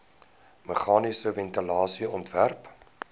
meganiese ventilasie ontwerp